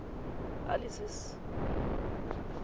alice's